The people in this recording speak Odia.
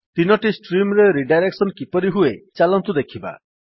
3ଟି ଷ୍ଟ୍ରିମ୍ ରେ ରିଡାଇରେକ୍ସନ୍ କିପରି ହୁଏ ଚାଲନ୍ତୁ ଦେଖିବା